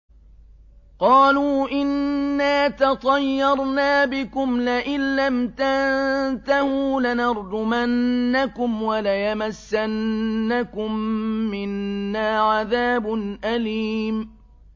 قَالُوا إِنَّا تَطَيَّرْنَا بِكُمْ ۖ لَئِن لَّمْ تَنتَهُوا لَنَرْجُمَنَّكُمْ وَلَيَمَسَّنَّكُم مِّنَّا عَذَابٌ أَلِيمٌ